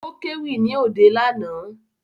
Ó kéwì ní òde lánàá